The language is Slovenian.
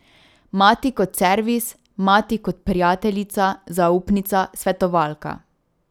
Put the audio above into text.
Mati kot servis, mati kot prijateljica, zaupnica, svetovalka.